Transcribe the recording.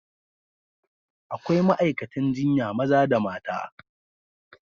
Akwai ma'aikatan jinya maza da mata.